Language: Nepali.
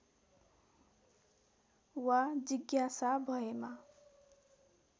वा जिज्ञासा भएमा